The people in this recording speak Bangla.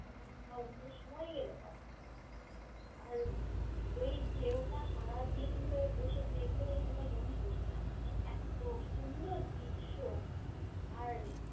পাবো না বা অন্য সময় গেলে পাবো না আর এই ঢেউটা সারাদিন বসে দেখলেও ঐখানে মন পূষবেনা মানে এতো সুন্দর দৃশ্য আর